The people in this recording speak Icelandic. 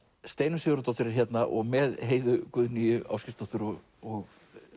Steinunn Sigurðardóttir er hérna með Heiðu Guðnýju Ásgeirsdóttur og